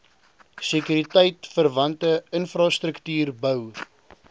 sekuriteitverwante infrastruktuur bou